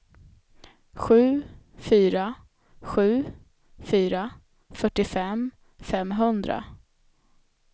sju fyra sju fyra fyrtiofem femhundra